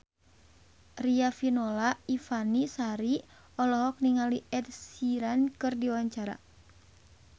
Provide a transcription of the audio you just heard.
Riafinola Ifani Sari olohok ningali Ed Sheeran keur diwawancara